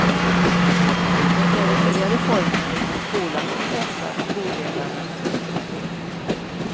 Det är de nya reformerna inom skolan som pressar skolledarna. punkt